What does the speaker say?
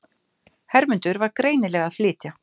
Hermundur var greinilega að flytja.